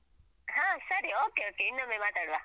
ಹ ಸರಿ okay okay ಇನ್ನೊಮ್ಮೆ ಮಾತಾಡುವ.